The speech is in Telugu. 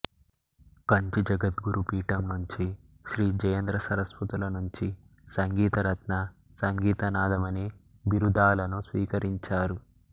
కంచి జగద్గురుపీఠం నుంచి శ్రీ జయేంద్రసరస్వతుల నుంచి సంగీతరత్న సంగీత నాథమణి బిరుదాలను స్వీకరించారు